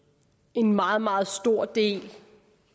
en meget meget stor del